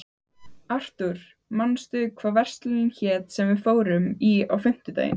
Arthur, manstu hvað verslunin hét sem við fórum í á fimmtudaginn?